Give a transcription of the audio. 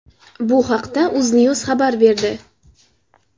Bu haqda UzNews xabar berdi.